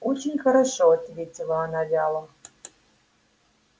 очень хорошо ответила она вяло